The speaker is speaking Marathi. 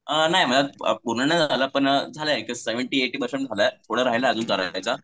अ नाही पूर्ण नाही झाला पण झालाय सेव्हन्टी ऐटी पर्सेंट झालाय. पुढे राहिलाय अजून